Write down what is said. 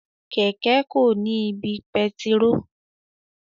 Kẹkẹ ko ni ibi pẹtiró.